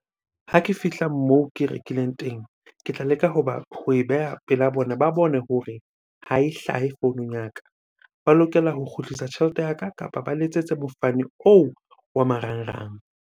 Ha ke fihla moo ke rekileng teng. Ke tla leka hoba, ho e beha pela bona ba bone hore ha e hlahe founung ya ka. Ba lokela ho kgutlisa tjhelete ya ka, kapa ba letsetse mofani oo wa marangrang.